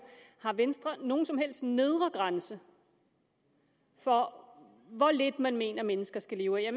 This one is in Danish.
har venstre nogen som helst nedre grænse for hvor lidt man mener mennesker skal leve af jeg